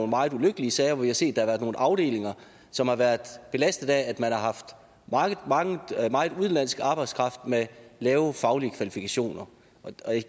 meget ulykkelige sager hvor vi har set at været nogle afdelinger som har været belastet af at man har haft meget udenlandsk arbejdskraft med lave faglige kvalifikationer